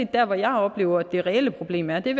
dér hvor jeg oplever at det reelle problem er det